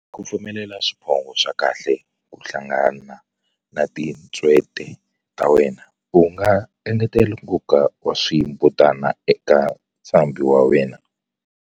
Ku pfumelela swiphongho swa kahle ku hlangana na tintswete ta wena, u nga engetela nkoka wa swimbutana eka ntshambi wa wena.